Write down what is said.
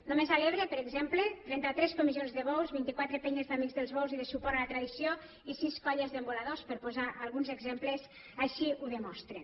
només a l’ebre per exemple trenta tres comissions de bous vint quatre penyes d’amics dels bous i de suport a la tradició i sis colles d’emboladors per posar alguns exemples així ho demostren